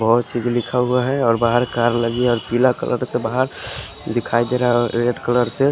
बोहोत चीज लिखा हुआ है और बाहर का अलग ही या पिला कलर से बाहर दिखाई देरा रेड कलर से--